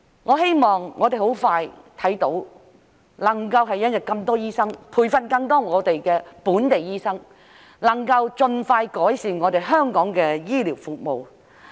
我希望我們很快便能看到有很多醫生的一天，培訓更多本地醫生，盡快改善香港的醫療服務。